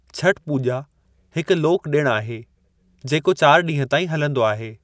छठ पूॼा हिकु लोक डि॒णु आहे है जेको चार ॾींहं ताईं हलिंदो आहे।